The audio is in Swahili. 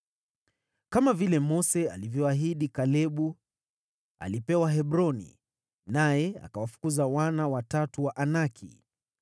Kama vile Mose alivyoahidi, Kalebu alipewa Hebroni, naye akawafukuza wana watatu wa Anaki.